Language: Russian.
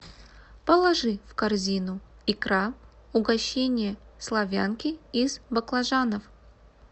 положи в корзину икра угощение славянки из баклажанов